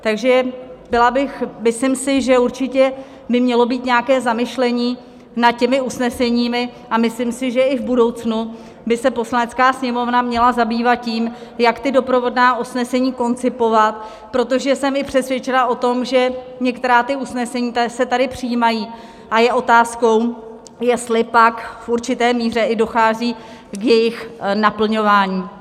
Takže byla bych, myslím si, že určitě by mělo být nějaké zamyšlení nad těmi usneseními, a myslím si, že i v budoucnu by se Poslanecká sněmovna měla zabývat tím, jak ta doprovodná usnesení koncipovat, protože jsem i přesvědčena o tom, že některá ta usnesení se tady přijímají, a je otázkou, jestli pak v určité míře i dochází k jejich naplňování.